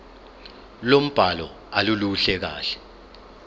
lombhalo aluluhle kahle